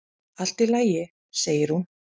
"""Allt í lagi, segir hún."""